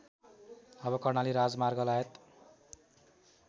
अब कर्णाली राजमार्गलगायत